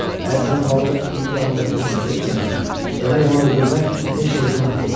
Əgər sən balığı indi də ondakı kimi sevirsənsə, demək onu öldürmək heç də günah deyil.